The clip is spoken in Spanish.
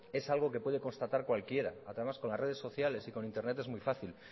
es algo que puede constatar cualquiera además con las redes sociales y con internet es muy fácil